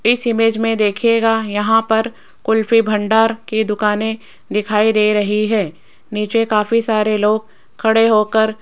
इस इमेज में देखिएगा यहां पर कुल्फी भंडार की दुकाने दिखाई दे रही है नीचे काफी सारे लोग खड़े होकर --